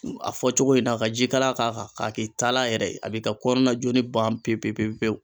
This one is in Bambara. A fɔcogo in na ka ji kalan k'a kan k'a k'i taala yɛrɛ ye, a b'i ka kɔrna joli ban pepe pewu pewu.